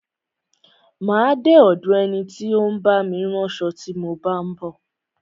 Má a de ọ̀do ẹni tí ó ń bá mi ránṣo tí mo bá ń bọ̀.